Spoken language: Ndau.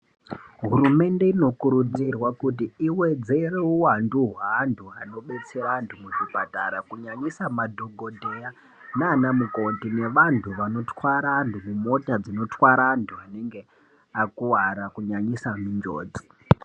Hurumende inokurudzirwa kuti iwedzere wuwandu wewantu anobetse vantu muzvipatara, kunyanyisa madhokodheya nanamukoti nevantu vanothwara ,dzimota dzinothwara antu anenge akuwara kunyanyisa munjodzi.